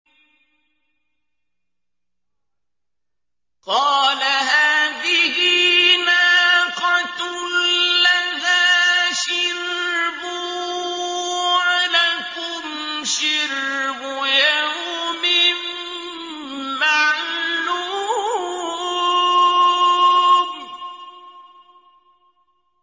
قَالَ هَٰذِهِ نَاقَةٌ لَّهَا شِرْبٌ وَلَكُمْ شِرْبُ يَوْمٍ مَّعْلُومٍ